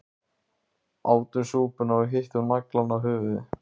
Átum súpuna og hittum naglann á höfuðið